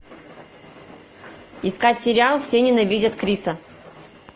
искать сериал все ненавидят криса